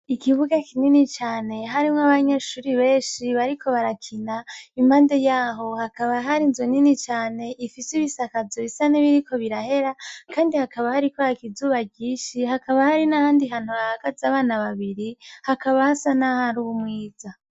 Ikibuga kinini cane harimwo abanyeshure benshi bariko barakina. Impande yaho hakaba hari inzu nini cane ifise ibisakazo bisa nibiriko birahera kandi hakaba hariko haka izuba ryinshi, hakaba hari n'ahandi hantu hahagaze abana babiri hakaba hasa n'ahari umwiza.